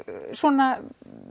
svona